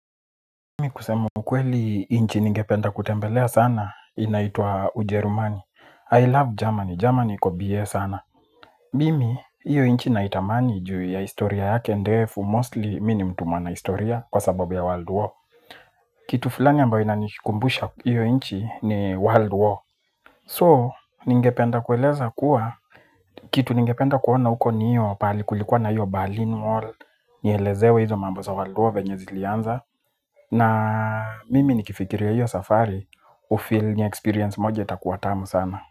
Mimi kusemu ukweli nchi ningependa kutembelea sana inaitwa ujerumani I love Germany, Germany iko biye sana. Mimi, iyo nchi naitamani juu ya historia yake ndefu Mostly mimi mtu mwana historia kwa sababu ya world war. Kitu fulani ambayo inanikumbusha iyo inchi ni world war So, ningependa kueleza kuwa kitu ningependa kuona huko ni hiyo pahali kulikuwa na hiyo Berlin Wall. Nielezewe hizo mambo za world war venye zilianza na mimi nikifikiria hiyo safari hufeel ni experience moje itakuwa tamu sana.